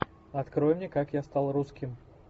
открой мне как я стал русским